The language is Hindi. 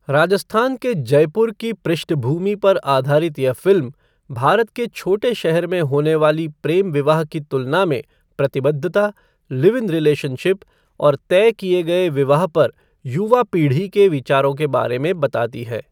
राजस्थान के जयपुर की पृष्ठभूमि पर आधारित यह फ़िल्म भारत के छोटे शहर में होने वाली प्रेम विवाह की तुलना में प्रतिबद्धता, लिव इन रिलेशनशिप और तय किए गए विवाह पर युवा पीढ़ी के विचारों के बारे में बताती है।